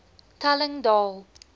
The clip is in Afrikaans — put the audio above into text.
telling daal